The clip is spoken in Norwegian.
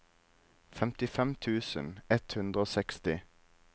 femtifem tusen ett hundre og seksti